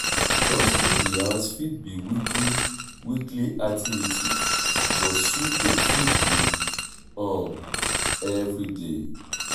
dusting di house fit be weekly weekly activity but sweeping fit be um everyday